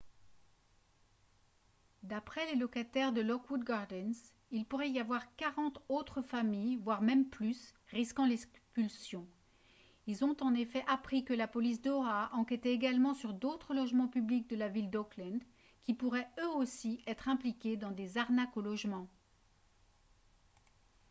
d'après les locataires de lockwood gardens il pourrait y avoir 40 autres familles voire même plus rdiquant l'expulsion ils ont en effet appris que la police d'oha enquêtait également sur d'autres logements publics de la ville d'oakland qui pourraient eux aussi être impliqués dans des arnaques au logement